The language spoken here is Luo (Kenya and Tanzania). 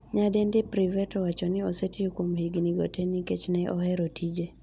Nyadendi Privett owacho ni osetiyo kuom higni go te nikech ne ohero tije.